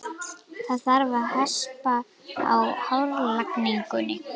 Það þarf að hespa af hárlagningunni.